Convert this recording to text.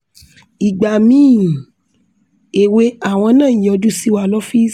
igba mii ewe awọn naa yọju siwa lọfiisi